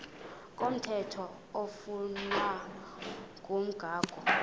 komthetho oflunwa ngumgago